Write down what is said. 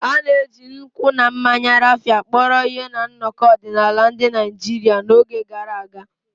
A na-eji nkwụ na mmanya Raphia kpọrọ ihe na nnọkọ ọdịnala ndị Naijiria n'oge gara aga.